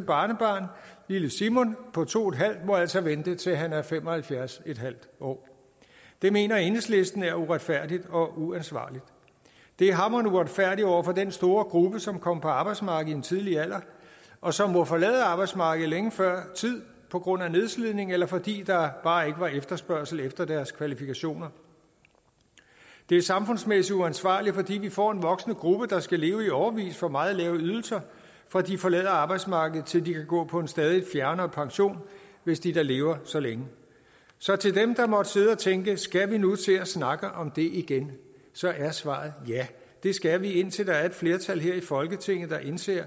barnebarn lille simon på to en halv år må altså vente til han er fem og halvfjerds en halv år det mener enhedslisten er uretfærdigt og uansvarligt det er hamrende uretfærdigt over for den store gruppe som kom på arbejdsmarkedet i en tidlig alder og som må forlade arbejdsmarkedet længe før tid på grund af nedslidning eller fordi der bare ikke var efterspørgsel efter deres kvalifikationer det er samfundsmæssigt uansvarligt fordi vi får en voksende gruppe der skal leve i årevis for meget lave ydelser fra de forlader arbejdsmarkedet til de kan gå på en stadig fjernere pension hvis de da lever så længe så til dem der måtte sidde og tænke skal vi nu til at snakke om det igen er svaret ja det skal vi indtil der er et flertal her i folketinget der indser